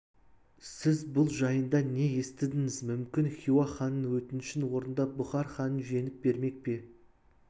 сіз бұл жайында не естідіңіз мүмкін хиуа ханының өтінішін орындап бұхар ханын жеңіп бермек пе